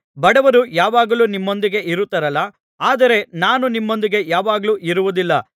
ಬಡವರು ಯಾವಾಗಲೂ ನಿಮ್ಮೊಂದಿಗೆ ಇರುತ್ತಾರಲ್ಲಾ ಆದರೆ ನಾನು ನಿಮ್ಮೊಂದಿಗೆ ಯಾವಾಗಲೂ ಇರುವುದಿಲ್ಲ